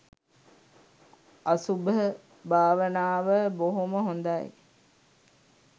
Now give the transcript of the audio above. අසුභ භාවනාව බොහොම හොඳයි